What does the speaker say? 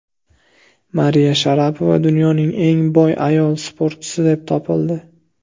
Mariya Sharapova dunyoning eng boy ayol sportchisi deb topildi.